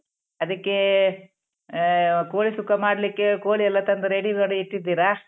ಅದಕ್ಕೇ ಆ ಕೋಳಿ ಸುಕ್ಕ ಮಾಡ್ಲಿಕ್ಕೆ ಕೋಳಿ ಎಲ್ಲ ತಂದ್ ready ಮಾಡಿ ಇಟ್ಟಿದ್ದಿರಾ?